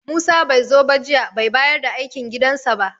Musa bai zo ba jiya, bai bayar da aikin gidansa ba.